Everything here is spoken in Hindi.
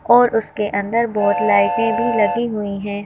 और उसके अंदर बहुत लाइटें भी लगी हुई हैं।